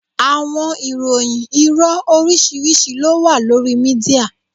Awọn ìròyìn iro oriṣiriṣi lo wa lori media.